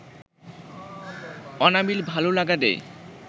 অনাবিল ভালো লাগা দেয়